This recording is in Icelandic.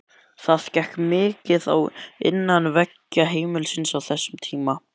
Það gekk mikið á innan veggja heimilisins á þessum tíma.